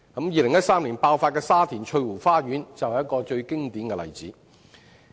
2013年的沙田翠湖花園圍標事件，便是一個最經典的例子。